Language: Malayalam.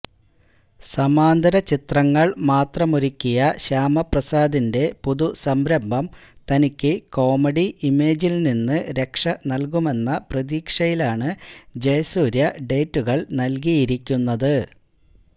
സമാന്തര ചിത്രങ്ങള് മാത്രമൊരുക്കിയ ശ്യാമപ്രസാദിന്റെ പുതു സംരംഭം തനിക്ക് കോമഡി ഇമേജില് നിന്ന് രക്ഷനല്കുമെന്ന പ്രതീക്ഷയിലാണ് ജയസൂര്യ ഡേറ്റുകള് നല്കിയിരിക്കുന്നത്